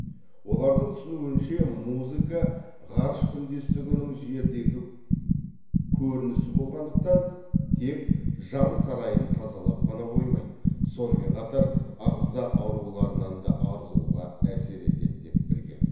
олардың түсінуінше музыка ғарыш үндестігінің жердегі көрінісі болғандықтан тек жан сарайын тазалап қана қоймайды сонымен қатар ағза ауруларынан да арылуға әсер етеді деп білген